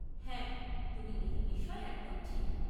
হ্যাঁ, তুমি এই বিষয়ে একদম ঠিক।